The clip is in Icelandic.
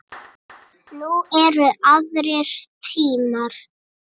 Nú eru aðrir tímar.